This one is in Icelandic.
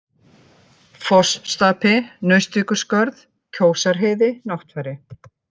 Fossstapi, Naustvíkurskörð, Kjósarheiði, Náttfari